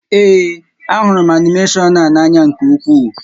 Ee, a hụrụ m animeshọn a n'ányá nkè ukwuu